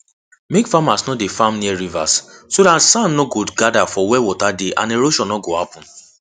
make farmers no dey farm near rivers so dat sand nor go gather for where water dey and erosion no go happen